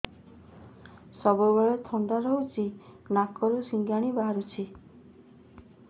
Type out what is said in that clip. ସବୁବେଳେ ଥଣ୍ଡା ରହୁଛି ନାକରୁ ସିଙ୍ଗାଣି ବାହାରୁଚି